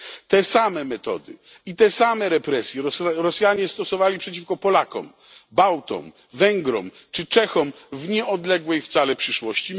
Te same metody i te same represje Rosjanie stosowali przeciwko Polakom, Bałtom, Węgrom czy Czechom w nieodległej wcale przeszłości.